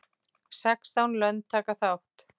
Sextán lönd taka þátt.